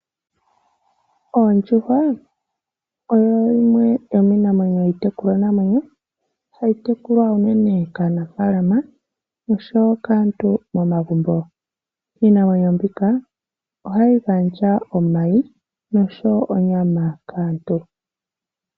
Ondjuhwa oyo yimwe yomiitekulwanamwenyo , hayi tekulwa unene kaanafaalama nookaantu momagumbo. Iinamwenyo mbika ohayi gandja omayi noshowoo onyama kaantu.